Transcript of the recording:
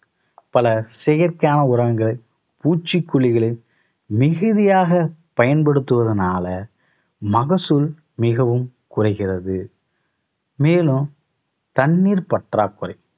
பல செயற்கையான உரங்கள் பூச்சிக்கொல்லிகளை மிகுதியாக பயன்படுத்துவதனால மகசூல் மிகவும் குறைகிறது. மேலும் தண்ணீர் பற்றாக்குறை